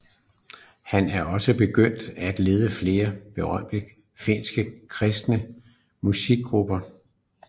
Han er også begyndt og ledes flere berømte finske kristne musikgrupper